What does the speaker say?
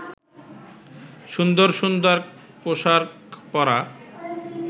সুন্দর সুন্দর পোশাক পরা